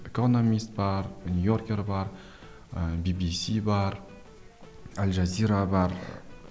экономист бар ыыы би би си бар аль жазира бар